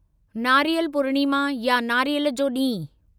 नारीअल पूर्णिमा या नारियल जो ॾींहुं